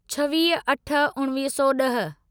छवीह अठ उणिवीह सौ ॾह